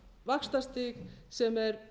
vaxtastig sem er